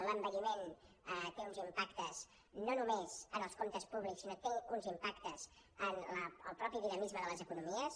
l’envelliment té uns impactes no només en els comptes públics sinó que té uns impactes en el mateix dinamisme de les economies